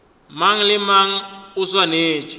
mang le mang o swanetše